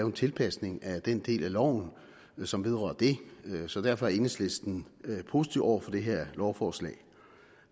en tilpasning af den del af loven som vedrører det så derfor er enhedslisten positiv over for det her lovforslag